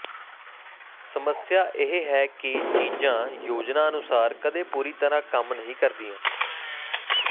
ਸਮੱਸਿਆ ਇਹ ਹੈ ਕਿ ਚੀਜ਼ਾਂ ਯੋਜਨਾ ਅਨੁਸਾਰ ਕਦੇ ਪੂਰੀ ਤਰ੍ਹਾਂ ਕੰਮ ਨਹੀਂ ਕਰਦੀਆਂ